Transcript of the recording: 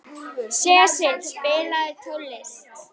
Sesil, spilaðu tónlist.